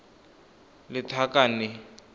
lethakane